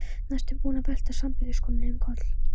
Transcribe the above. Næstum búinn að velta sambýliskonunni um koll.